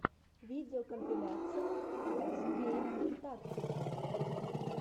видеокомпиляция рус гейм тактикс